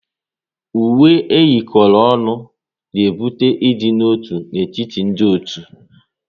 Uwe eyikoro ọnụ na-ebute ịdị n'otu n'etiti ndị otu